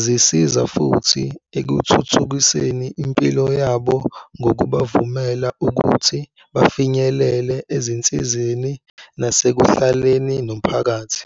Zisiza futhi ekuthuthukiseni impilo yabo ngokubavumela ukuthi bafinyelele ezinsizeni nasekuhlaleni nomphakathi.